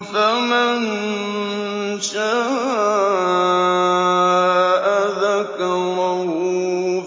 فَمَن شَاءَ ذَكَرَهُ